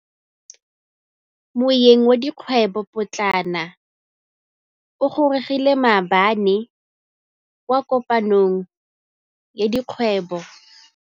Moêng wa dikgwêbô pôtlana o gorogile maabane kwa kopanong ya dikgwêbô.